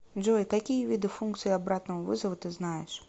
джой какие виды функции обратного вызова ты знаешь